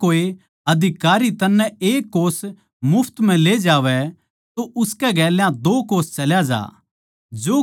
जै कोए अधिकारी तन्नै एक कोस मुफ्त म्ह ले जावै तो उसकै गेल्या दो कोस चल्या ज्या